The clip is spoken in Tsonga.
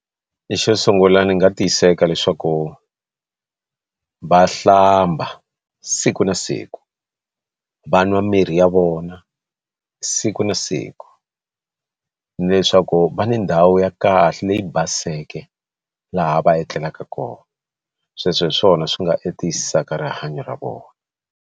Xo sungula ni nga tiyiseka leswaku va hlamba siku na siku va nwa mirhi ya vona siku na siku ni leswaku va ni ndhawu ya kahle leyi baseke laha va etlelaka kona sweswo hi swona swi nga tiyisaka rihanyo ra vona.